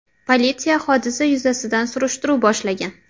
Politsiya hodisa yuzasidan surishtiruv boshlagan.